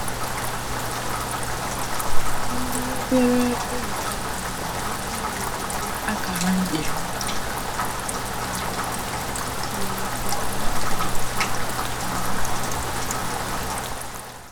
Ndị obere ụlọ ọrụ nwere ike iwulite akara njirimara um siri ike ka ha wee di iche na nnukwu ụlọ ọrụ.